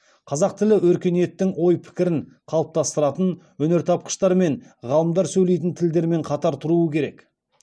қазақ тілі өркениеттің ой пікірін қалыптастыратын өнертапқыштар мен ғалымдар сөйлейтін тілдермен қатар тұруы керек